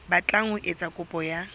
batlang ho etsa kopo ya